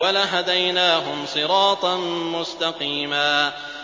وَلَهَدَيْنَاهُمْ صِرَاطًا مُّسْتَقِيمًا